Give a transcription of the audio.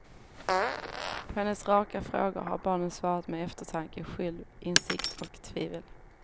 På hennes raka frågor har barnen svarat med eftertanke, självinsikt och tvivel.